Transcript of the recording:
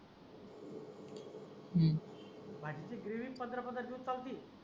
भाजीची ग्रेव्ही पंधरा पंधरा दिवस चालती.